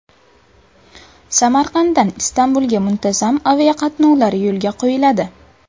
Samarqanddan Istanbulga muntazam aviaqatnovlar yo‘lga qo‘yiladi.